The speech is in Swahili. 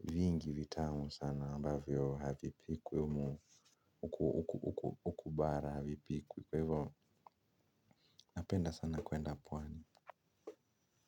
vingi vitamu sana ambavyo havi pikwi humu Ukubara havi pikwi. Kwa hivyo napenda sana kwenda pwani.